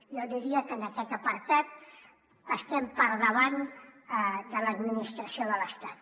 jo diria que en aquest apartat estem per davant de l’administració de l’estat